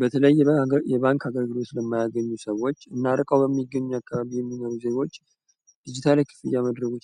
በተለይ የባንክ አገልግሎት ሰዎች እና እርቀው በሚገኘው ቃል የሚለው ዜጎች